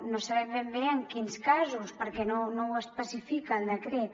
no sabem ben bé en quins casos perquè no ho especifica el decret